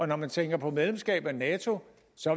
når man tænker på medlemskab af nato